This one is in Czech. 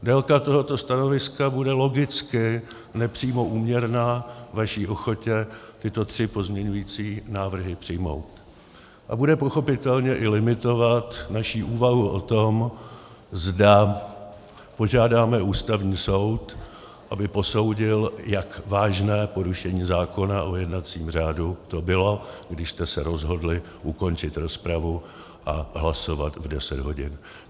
Délka tohoto stanoviska bude logicky nepřímo úměrná vaší ochotě tyto tři pozměňující návrhy přijmout a bude pochopitelně i limitovat naši úvahu o tom, zda požádáme Ústavní soud, aby posoudil, jak vážné porušení zákona o jednacím řádu to bylo, když jste se rozhodli ukončit rozpravu a hlasovat v 10 hodin.